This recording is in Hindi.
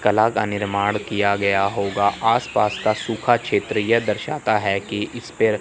कला का निर्माण किया गया होगा आसपास का सूखा क्षेत्र यह दर्शाता है कि इस पेड़--